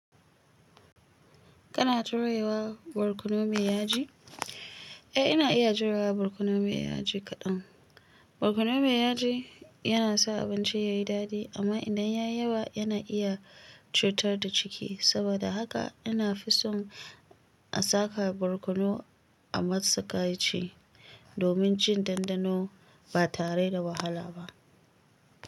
Kana jurewa barkono mai yaji? Eh, ina iya jurewa barkono mai yaji kaɗan. Barkono mai yaji yana sa abinci yayi daɗi amma idan ya yi yawa yana iya cutar da ciki. Saboda haka ina fi son a saka barkono a matsakaici domin jin dandano batare da wahala ba.